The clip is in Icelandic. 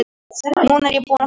Núna er ég búin að fá nóg.